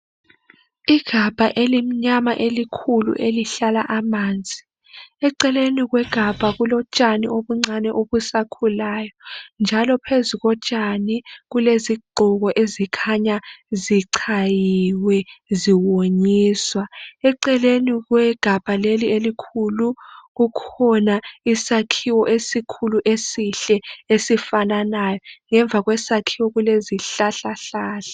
Igabha elimnyama elikhulu elihlala amanzi. Eceleni kwegabha kulotshani obuncane obusakhulayo njalo phezu kotshani kulezigqoko ezikhanya zichayiwe, ziwonyiswa. Eceleni kwegabha leli elikhulu kukhona isakhiwo esikhulu esihle esifananayo. Ngemva kwesakhiwo kulezihlahlahlahla.